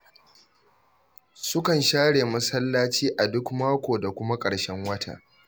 Sukan share masallaci a duk mako da kuma ƙarshen wata.